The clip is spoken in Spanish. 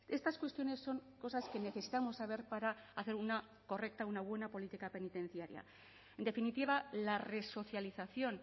estas cuestiones son cosas que necesitamos saber para hacer una correcta una buena política penitenciaria en definitiva la resocialización